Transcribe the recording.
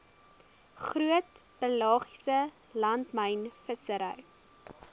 groot pelagiese langlynvissery